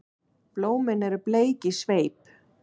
Blómin eru bleik í sveip.